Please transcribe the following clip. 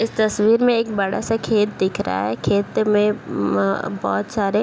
इस तस्वीर में एक बड़ा सा खेत दिख रहा है खेत में अम बहुत सारे --